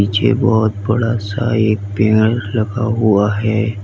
पीछे बहुत बड़ा सा एक पेड़ रखा हुआ है।